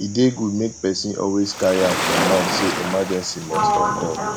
e dey good make person always carry am for mind sey emergency must occur